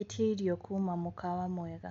ĩtĩa ĩrĩo kũma mũkawa mwega